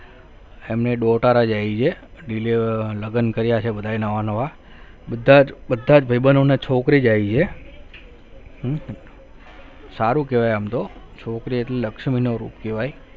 એમને daughter આઈ છે, લગન કર્યા છે બધાએ નવા નવા બધા જ બધા જ ભાઈબંધોને છોકરી જઈએ સારું કહેવાય આમ તો છોકરી એટલે લક્ષ્મી નો રૂપ કહેવાય